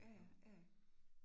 Ja ja, ja ja